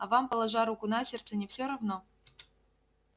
а вам положа руку на сердце не всё равно